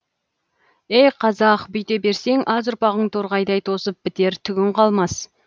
ей қазақ бүйте берсең аз ұрпағың торғайдай тозып бітер түгің қалмас